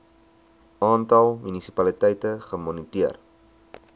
aantal munisipaliteite gemoniteer